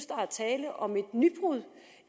der er tale om et nybrud